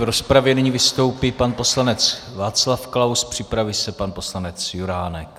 V rozpravě nyní vystoupí pan poslanec Václav Klaus, připraví se pan poslanec Juránek.